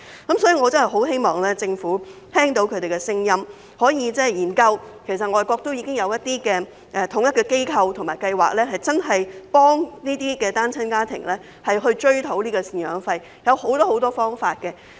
因此，我真的希望政府聽到他們的聲音，可以研究仿效外國設立統一的機構和計劃，真正協助這些單親家庭追討贍養費，方法有很多。